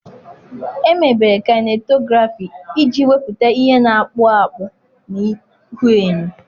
Emebere Kainetografị iji wepụta ihe na-akpụ akpụ na ihuenyo.